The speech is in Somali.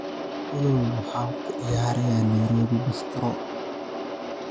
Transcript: olly maxaa ku ciyaaraya nairobi bistro